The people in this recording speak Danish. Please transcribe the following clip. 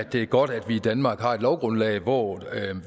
det er godt at vi i danmark har et lovgrundlag hvor